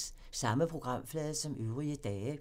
Samme programflade som øvrige dage